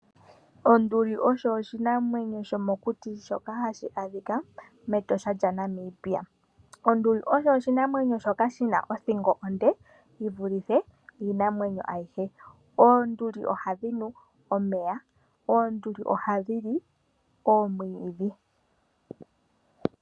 Onduli osho oshinamwnyo shomokuti shoka hashi adhika mEtosha lyaNamibia ,onduli osho oshinamwenyo shoka shina othingo onde yivulithe iinamwenyo ayihe oonduli ohadhi nu omeya, oonduli ohadhi li omwiidhi.